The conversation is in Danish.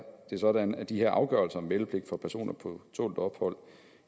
sådan at de her afgørelser om meldepligt for personer på tålt ophold